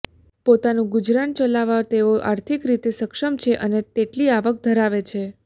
પોતાનું ગુજરાન ચલાવવા તેઓ આર્થિક રીતે સક્ષમ છે અને તેટલી આવક ધરાવે છે